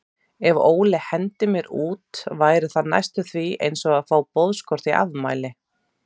Ef Óli hendir mér út væri það næstum því einsog að fá boðskort í afmælið.